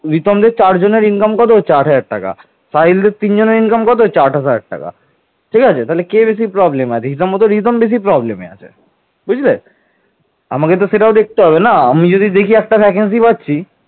তিনি কনৌজের আয়ুধ বংশীয় রাজা বজ্রায়ুধকে পরাজিত করে কনৌজ দখল করেন